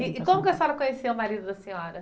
E e como que a senhora conheceu o marido da senhora?